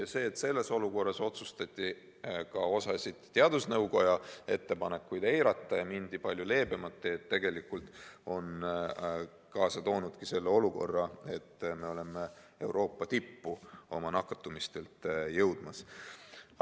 Aga see, et selles olukorras otsustati ka osa teadusnõukoja ettepanekuid eirata ja minna palju leebemat teed, on tegelikult kaasa toonud tagajärje, et me oleme nakatumisnäitaja poolest jõudmas Euroopa tippu.